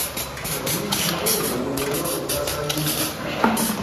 tàbí irú àwọn èèyàn wo ni ọlọ́run dá sáyé yìí